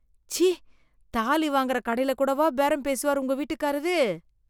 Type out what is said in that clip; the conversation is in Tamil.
ச்சீ, தாலி வாங்கற கடையில கூடவா பேரம் பேசுவார் உங்க வீட்டுக்காரரு?